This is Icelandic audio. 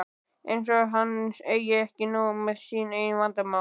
Eins og hann eigi ekki nóg með sín eigin vandamál!